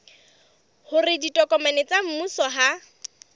hore ditokomane tsa mmuso ha